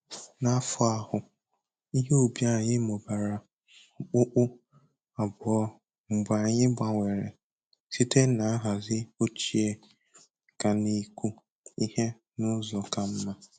N'afọ ahụ, ihe ubi anyị mụbara okpukpu abụọ mgbe anyị gbanwere site na nhazi ochie gaa n'ịkụ ihe n'ụzọ ka mma.